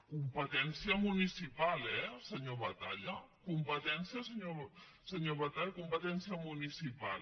competència municipal eh senyor batalla competència senyor batalla municipal